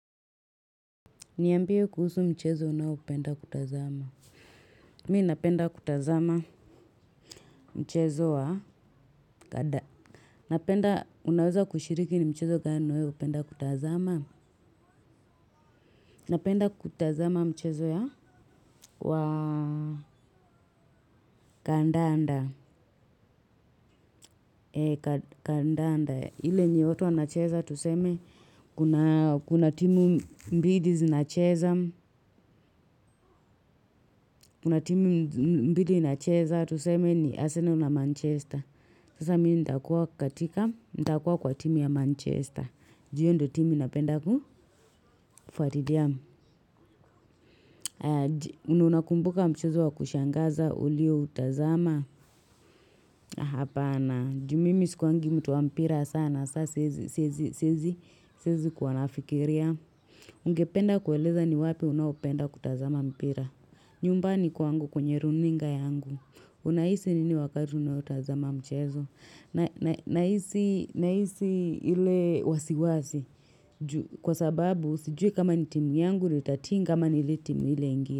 Niambie kuhusu mchezo unaopenda kutazama. Mimi napenda kutazama mchezo wa kada napenda unaweza kushiriki ni mchezo gani wewe hupenda kutazama. Napenda kutazama mchezo ya wa kadanda. Ee kadanda. Ile yenye watu wa nacheza tuseme, kuna timu mbili zinacheza, tuseme ni Arsenal na Manchester. Sasa mimi nita kuwa katika, nita kuwa kwa timu ya Manchester. Ju hiyo ndiyo timu na penda kufuatilia na unakumbuka mchezo wa kushangaza ulioutazama, hapana ju mimi sikuwagi mtu wa mpira sana, saa siwezi kuwa nafikiria. Ungependa kueleza ni wapi unaopenda kutazama mpira. Nyumbani kwangu kwenye runinga yangu. Unahisi nini wakati unaotazama mchezo. Nahisi ile wasiwasi kwa sababu sijui kama ni timu yangu ndiyo itatinga ama ni ile timu ile ingine.